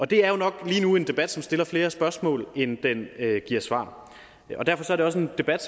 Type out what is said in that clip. det er jo nok lige nu en debat som stiller flere spørgsmål end den giver svar derfor er det også en debat